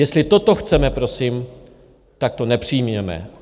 Jestli toto chceme, prosím, tak to nepřijměme.